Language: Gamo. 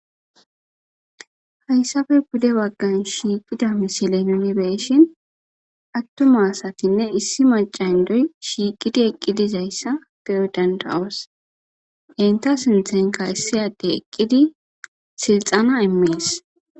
hayssafe pude baggan shiiqida misile uni beyishin attuma asatinne issi maca hindoy shiiqidi eqqidizayssa de7o danda7os enta sinthenka issiyade eqqidi silxana immis